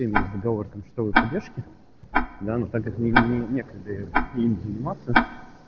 договор о том что вы поддержки давно так это некогда заниматься